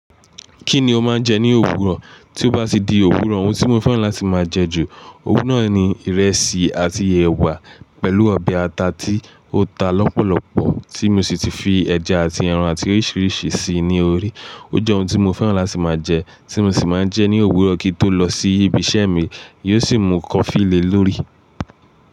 Kí ni o máa ń jẹ ní òwúrọ̀? Tí ó bá ti di òwúrọ̀ ohun tí mo fẹ́ràn láti máa jẹ ju òun náà ni ìrẹsì àti ẹ̀wà pẹ̀lú ọbẹ̀ ata tí ó ta lọ́pọ̀lọ́pọ̀ tí mo sì ti fi ẹja àti ẹran àti oríṣìíríṣìí síi ní orí. Ó jẹ́ ohun tí mo fẹ́ràn láti máa jẹ, tí mo sì máa ń jẹ ní òwúrọ̀ kí n tó lọ sí ibi iṣẹ́ mi, yóò sì mu kọfí le lórí.